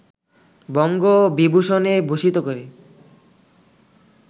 বঙ্গ বিভূষণে ভূষিত করে